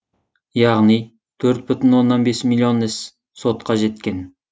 яғни төрт бүтін оннан бес миллион іс сотқа жеткен